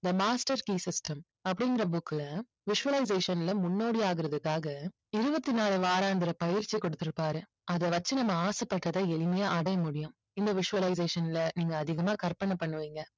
தி master key system அப்படிங்கற book ல visualization ல முன்னோடி ஆகறதுக்காக இருபத்தினாலு வாராந்திர பயிற்சி கொடுத்திருப்பாரு. அதை வச்சு நம்ம ஆசைப்பட்டதை எளிமையா அடைய முடியும். இந்த visualization ல நீங்க அதிகமா கற்பனை பண்ணுவீங்க.